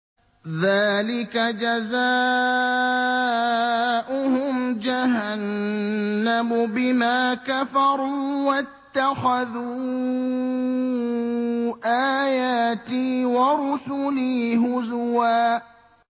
ذَٰلِكَ جَزَاؤُهُمْ جَهَنَّمُ بِمَا كَفَرُوا وَاتَّخَذُوا آيَاتِي وَرُسُلِي هُزُوًا